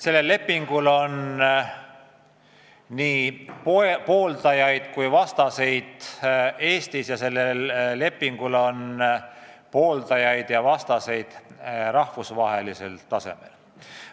Sellel lepingul on nii pooldajaid kui vastaseid Eestis ja sellel lepingul on nii pooldajaid kui vastaseid rahvusvahelisel tasemel.